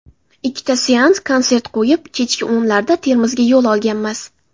Ikkita seans konsert qo‘yib, kechki o‘nlarda Termizga yo‘l olganmiz.